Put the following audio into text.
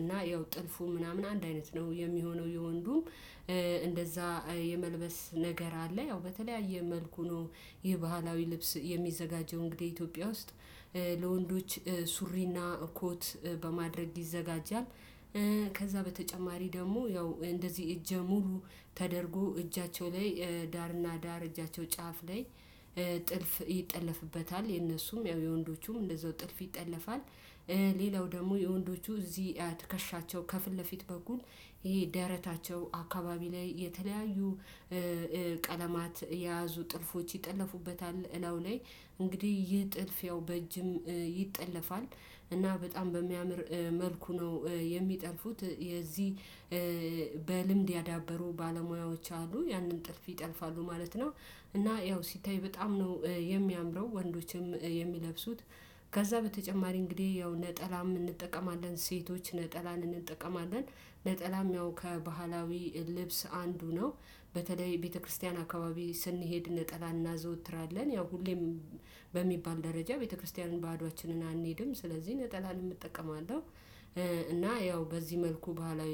እና ያው ጥልፉ ምናምን አንድ አይነት ነው የሚሆነው የወንዱም እንደዛ የመልበስ ነገር አለ ያው በተለያየ መልኩ ነው። የባህላዊ ልብስ የሚዘጋጀው እንግዲህ ኢትዮጵያ ውስጥ ለወንዶች ሱሪና እኮት በማድረግ ይዘጋጃል። ከዛ በተጨማሪ ደግሞ ያው እንደዚህ እጅ ሙሉ ተደርጎ እጃቸው ላይ ዳርና ዳር እጃቸው ጫፍ ላይ ጥልፍ ይጠለፍበታል የነሱም ያው የወንዶቹም እንደዛው ጥልፍ ይጠለፋል። ሌላው ደግሞ የወንዶቹ እዚህ ትከሻቸው ከፊት ለፊት በኩል ይሄ ደረታቸው አካባቢ ላይ የተለያዩ ቀለማት የያዙ ጥልፎች ይጠለፉበታል እለው ላይ እንግዲህ ይህ ጥልፍ ያው በእጅም ይጠለፋል። እና በጣም በሚያምር መልኩ ነው የሚጠልፉት የዚህ ያዳበሩ ባለሙያዎች አሉ ያንን ጥልፍ ይጠልፋሉ ማለት ነው። እና ያው ሲተይ በጣም ነው የሚያምረው ወንዶችም የሚለብሱት ከዛ በተጨማሪ እንግዲህ ያው ነጠላ እንጠቀማለን ሴቶች ነጠላን እንጠቀማለን። ነጠላም ያው ከባህላዊ ልብስ አንዱ ነው። በተለይ ቤተክርስቲያን አካባቢ ስንሄድ ነጠላ እናዘወትራለን ያው ሁሌም በሚባል ደረጃ ቤተክርስቲያንን ባዶአችንን አንሄድም ስለዚህ ነጠላንም እጠቀማለሁ። እና ያው በዚህ መልኩ ባህላዊ